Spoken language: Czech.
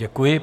Děkuji.